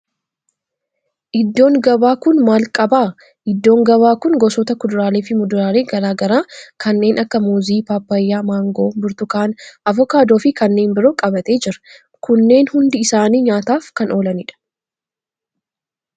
Iddoon gabaa kun maal qaba? Iddoon gabaa kun gosoota kuduraalee fi muduraalee garaa garaa kanneen akka muuzii, paappayyaa, maangoo, burtukaana, avokaadoo, fi kanneen biroo qabatee jira. Kunneen hundi isaanii nyaataf kan oolanidha.